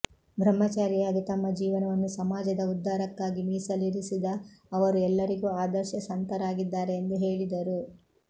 ಬ್ರಹ್ಮ ಚಾರಿಯಾಗಿ ತಮ್ಮ ಜೀವನವನ್ನು ಸಮಾ ಜದ ಉದ್ಧಾರಕ್ಕಾಗಿ ಮೀಸಲಿರಿಸಿದ ಅವರು ಎಲ್ಲರಿಗೂ ಆದರ್ಶ ಸಂತರಾಗಿದ್ದಾರೆ ಎಂದು ಹೇಳಿದರು